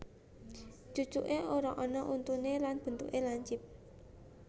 Cucuké ora ana untuné lan bentuké lincip